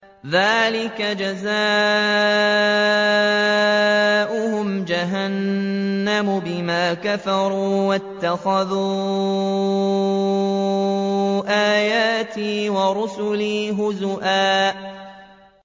ذَٰلِكَ جَزَاؤُهُمْ جَهَنَّمُ بِمَا كَفَرُوا وَاتَّخَذُوا آيَاتِي وَرُسُلِي هُزُوًا